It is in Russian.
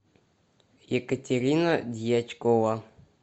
екатерина дьячкова